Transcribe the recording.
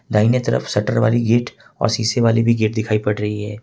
दाहिने तरफ शटर वाली गेट और शीशे वाली भी गेट दिखाई पड़ रही है।